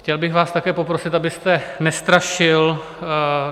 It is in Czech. Chtěl bych vás také poprosit, abyste nestrašil.